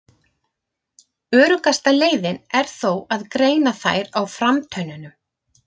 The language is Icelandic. Öruggasta leiðin er þó að greina þær á framtönnunum.